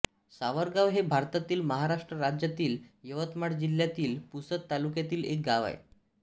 सावरगाव हे भारतातील महाराष्ट्र राज्यातील यवतमाळ जिल्ह्यातील पुसद तालुक्यातील एक गाव आहे